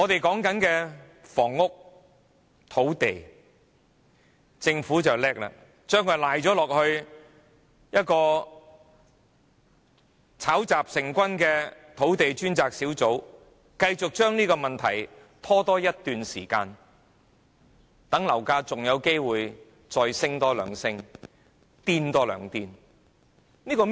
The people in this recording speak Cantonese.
至於房屋、土地方面，政府很精明，把責任推卸給一個炒雜成軍的土地供應專責小組，繼續將這問題拖延一段時間，讓樓價還有機會繼續攀升，繼續瘋狂。